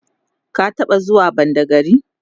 ka taɓa zuwa badagry?